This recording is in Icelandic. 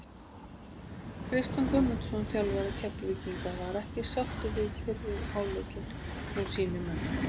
Kristján Guðmundsson þjálfari Keflvíkinga var ekki sáttur við fyrri hálfleikinn hjá sínum mönnum.